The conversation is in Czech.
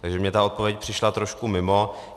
Takže mně ta odpověď přišla trošku mimo.